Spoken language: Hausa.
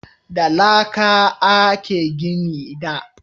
Da laƙa a a ke gini da